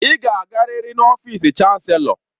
Ị ga-agarịrị n'ọfịsi chanselọ